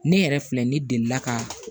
Ne yɛrɛ filɛ ne deli la ka